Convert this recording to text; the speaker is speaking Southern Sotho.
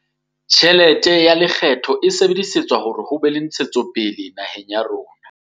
Tjhelete ya lekgetho e sebedisetswa hore ho be le ntshetsopele naheng ya rona.